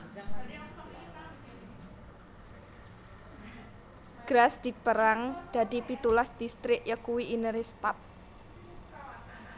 Graz dipérang dadi pitulas distrik yakuwi Innere Stadt